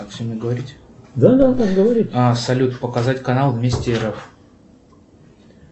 салют показать канал вести рф